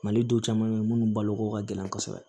Mali duw caman be yen munnu balo ko ka gɛlɛn kɔsɛbɛ